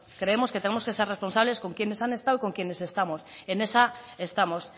creemos que tenemos que ser responsables con quienes han estado y con quienes estamos en esa estamos